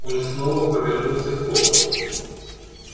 он снова повернулся к роботу